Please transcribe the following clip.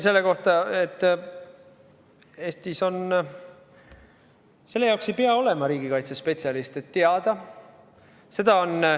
Aga ma ütleksin, et selle jaoks ei pea olema riigikaitsespetsialist.